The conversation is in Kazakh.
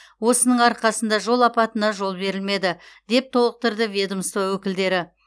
осының арқасында жол апатына жол берілмеді деп толықтырды ведомство өкілдері